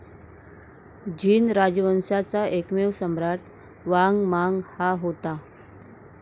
झीन राजवंशाचा एकमेव सम्राट वांग मांग हा होता.